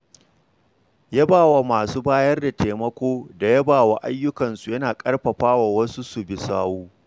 Yaba wa masu bayar da taimako da yabawa ayyukansu yana ƙarfafa wasu su bi sawu.